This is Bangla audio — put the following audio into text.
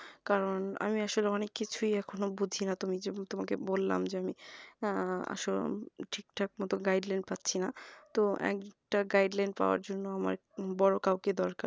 কারণ আমি আসলে অনেক কিছুই এখনো বুঝিনা তুমি যে তোমাকে বললাম যে আমি আহ আসল ঠিকঠাক মতো guideline পাচ্ছিনা তো একটা guideline পাওয়ার জন্য আমার বড়ো কেউ কে দরকার